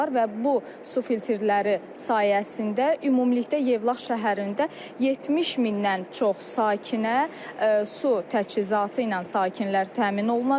Və bu su filtrləri sayəsində ümumilikdə Yevlax şəhərində 70 mindən çox sakinə su təchizatı ilə sakinlər təmin olunacaq.